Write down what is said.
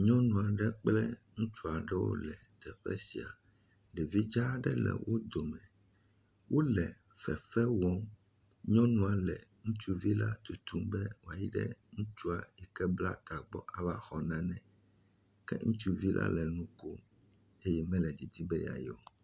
Nyɔnu aɖe kple ŋutsu aɖe wole teƒe sia, ɖevi dza aɖe le wo dome. Wo le fefe wɔm, nyɔnua le ŋutsua tutum be wòayi ɖe ŋutsua yike bla ta gbɔ ava xɔ nane, ke ŋutsuvi la nu kom. Eye mele didim be yeayi o.